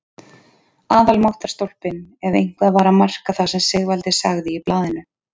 Aðalmáttarstólpinn ef eitthvað var að marka það sem Sigvaldi sagði í blaðinu!